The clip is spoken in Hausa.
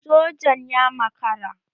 Sojan ya makara